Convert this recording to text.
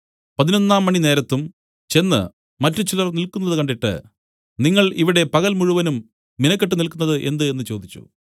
പതിനൊന്നാം മണി നേരത്തും ചെന്ന് മറ്റുചിലർ നില്ക്കുന്നതു കണ്ടിട്ട് നിങ്ങൾ ഇവിടെ പകൽ മുഴുവൻ മിനക്കെട്ടു നില്ക്കുന്നതു എന്ത് എന്നു ചോദിച്ചു